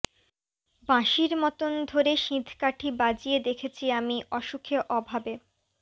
বাঁশির মতন ধরে সিঁধকাঠি বাজিয়ে দেখেছি আমি অসুখে অভাবে